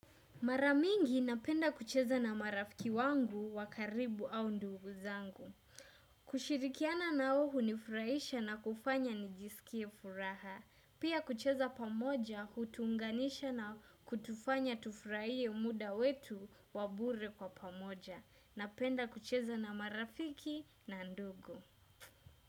Mara mingi napenda kucheza na marafiki wangu wa karibu au ndugu zangu. Kushirikiana nao hunifurahisha na kufanya nijisikie furaha. Pia kucheza pamoja hutuunganisha na kutufanya tufurahie muda wetu wa bure kwa pamoja. Napenda kucheza na marafiki na ndugu.